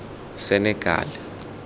senekal